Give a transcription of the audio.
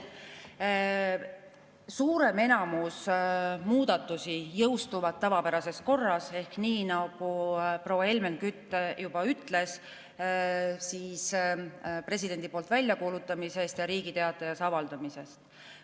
Suurem enamus muudatusi jõustuvad tavapärases korras ehk nii nagu proua Helmen Kütt juba ütles, siis presidendi poolt väljakuulutamist ja Riigi Teatajas avaldamist.